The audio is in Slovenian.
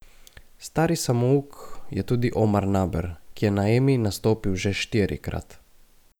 Stari samouk je tudi Omar Naber, ki je na Emi nastopil že štirikrat.